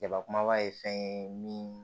Jaba kumaba ye fɛn ye min